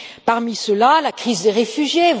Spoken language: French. Parmi ceux là, la crise des réfugiés.